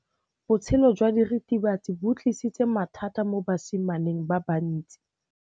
Botshelo jwa diritibatsi ke bo tlisitse mathata mo basimaneng ba bantsi.